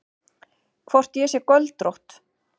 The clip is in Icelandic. Hvort ég sé göldrótt.